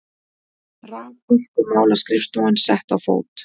Raforkumálaskrifstofan sett á fót.